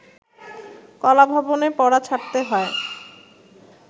কলাভবনে পড়া ছাড়তে হয়